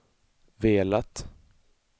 velat